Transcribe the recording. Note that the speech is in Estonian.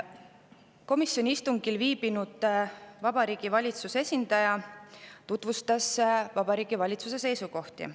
Komisjoni istungil viibinud Vabariigi Valitsuse esindaja tutvustas Vabariigi Valitsuse seisukohti.